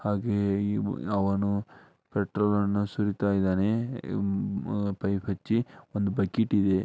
ಹಾಗೆ ಅವನು ಪೆಟ್ರೋಲ್ ಸುರಿತಾ ಇದಾನೆ ಪೈಪ್ ನಿಂದ ಬಕೆಟ್ ಗೆ